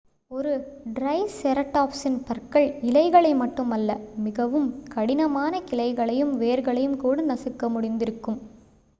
ஒரு ட்ரைசெரட்டாப்ஸின் பற்கள் இலைகளை மட்டுமல்ல மிகவும் கடினமான கிளைகளையும் வேர்களையும் கூட நசுக்க முடிந்திருக்கும்